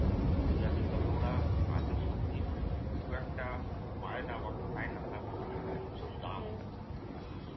প্রচুর আছে তবে ওরা কাঁচা সবজির খুব একটা পায় না বা খায় না তা বলবো না। ভীষণ দাম ওখানে কাঁচা সবজির। ।